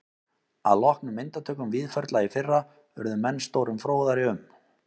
Að loknum myndatökum Víðförla í fyrra urðu menn stórum fróðari um